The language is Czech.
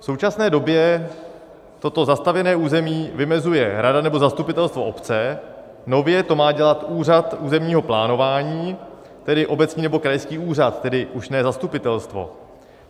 V současné době toto zastavěné území vymezuje rada nebo zastupitelstvo obce, nově to má dělat úřad územního plánování, tedy obecní nebo krajský úřad, tedy už ne zastupitelstvo.